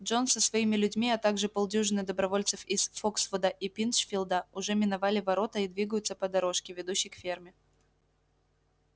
джонс со своими людьми а также полдюжины добровольцев из фоксвуда и пинчфилда уже миновали ворота и двигаются по дорожке ведущей к ферме